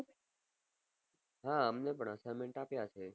હા અમને પન assignment આપીય હશે